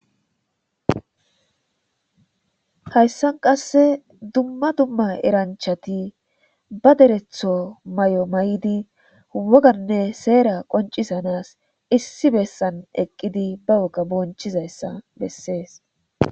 hayssan qasse dumma dumma eranchati ba deretho may7o may7di woganne seera qoncisanas issi bessan eqqidi ba woga bonchizayssa bessees